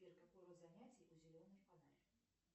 сбер какой род занятий у зеленый фонарь